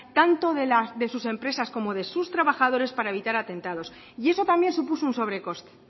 tanto de sus empresas como de sus trabajadores para evitar atentados y eso también supuso un sobrecoste